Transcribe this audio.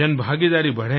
जन भागीदारी बढ़ें